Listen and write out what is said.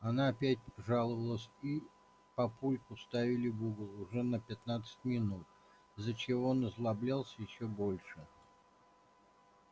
она опять жаловалась и папульку ставили в угол уже на пятнадцать минут из-за чего он озлоблялся ещё больше